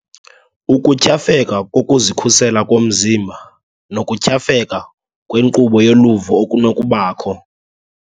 Ukutyhafeka kokuzikhusela komzimba nokutyhafeka kwenkqubo yoluvo okunokubakho.